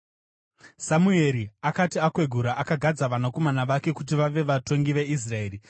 Samueri akati akwegura, akagadza vanakomana vake kuti vave vatongi veIsraeri.